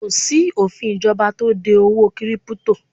Kò sí òfin ìjọba tó de owó 'kírípútò'